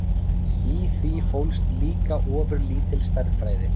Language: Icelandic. Í því fólst líka ofurlítil stærðfræði.